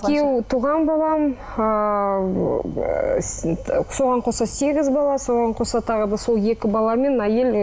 туған балам ыыы соған қоса сегіз бала соған қоса тағы да сол екі бала мен әйел ы